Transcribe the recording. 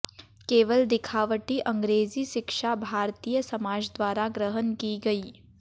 केवल दिखावटी अंग्रेजी शिक्षा भारतीय समाजद्वारा ग्रहण की गई